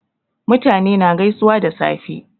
Mutane na gaisuwa da safe